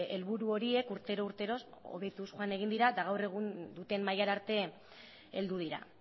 helburu horiek urtero urtero hobetuz joan egin dira eta gaur egun duten mailara arte heldu dira